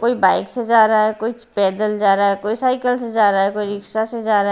कोई बाइक से जा रहा है कोई पैदल जा रहा है कोई साइकिल से जा रहा है कोई रिक्शा से जा रहा है।